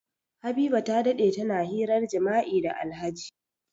Habiba ta dade tana hirar jima'i da Alhaji.